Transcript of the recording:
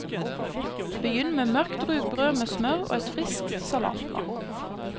Begynn med mørkt rugbrød med smør og et friskt salatblad.